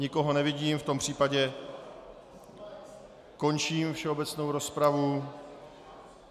Nikoho nevidím, v tom případě končím všeobecnou rozpravu.